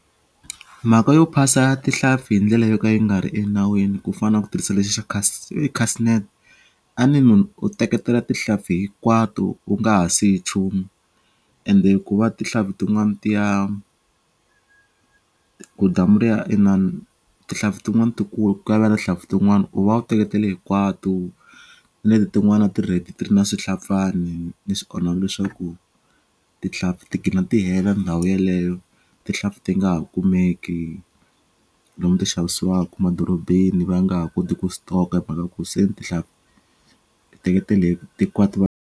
Mhaka yo phasa tinhlampfi hi ndlela yo ka yi nga ri enawini ku fana na ku tirhisa lexi xa i case net a ni munhu u teketela tihlampfi hinkwato u nga ha si yi chumu ende ku va tihlampfi tin'wana ti ya ku damu ri ya tihlampfi tin'wani ku tinhlampfi tin'wani u va u teketele hinkwatu na leti tin'wani a ti ri ready ti ri na swihlapfani ni swi onhaku leswaku tihlampfi gina ti hela ndhawu yeleyo tihlampfi ti nga ha kumeki lomu ti xavisiwaku madorobeni va nga ha koti ku stock-a hi mhaku se ni tihlampfi ti teketele hikwato .